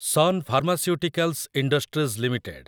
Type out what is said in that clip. sun Pharmaceuticals Industries limited